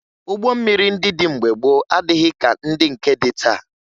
Ụgbọ mmiri ndị dị mgbe gboo adịghị ka ndị nke dị taa